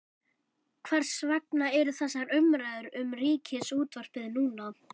Hvers vegna eru þessar umræður um Ríkisútvarpið núna?